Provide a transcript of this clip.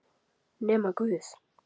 Nema guð.